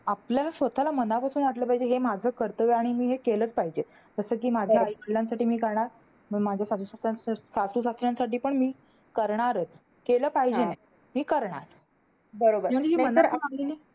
आपल्याला स्वतःला मनापासून वाटलं पाहिजे, कि हे माझं कर्तव्य आहे. आणि मी हे केलंच पाहिजे. जसं कि माझ्या आई-वडिलांसाठी मी करणार मग माझ्या सासू-सासऱ्या सासू-सासऱ्यांसाठी पण मी करणार आहे. केलं पाहिजे. मी करणार. नाहीतर